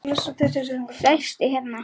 Sestu hérna.